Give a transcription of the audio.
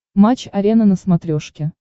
матч арена на смотрешке